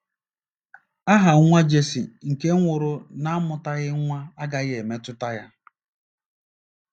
Aha nwa Jesi nke nwụrụ n'amụtaghị nwa agaghị emetụta ya.